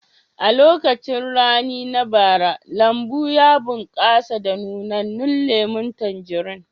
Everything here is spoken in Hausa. A lokacin rani na bara, lambun ya bunƙasa da nunannan lemun tanjarin